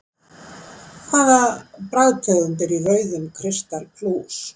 Hvaða bragðtegund er í rauðum kristal plús?